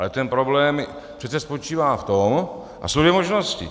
Ale ten problém přece spočívá v tom - a jsou dvě možnosti.